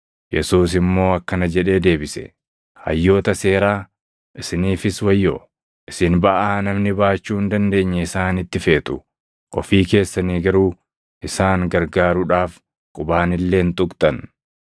Yesuus immoo akkana jedhee deebise; “Hayyoota seeraa, isiniifis wayyoo! Isin baʼaa namni baachuu hin dandeenye isaanitti feetu; ofii keessanii garuu isaan gargaaruudhaaf qubaan illee hin tuqxan.